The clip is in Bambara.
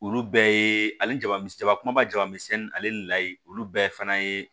Olu bɛɛ ye ale jabamisɛn kumaba jaba ale ni layi olu bɛɛ fana ye